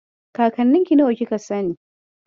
Kakanninki nawa kika sani?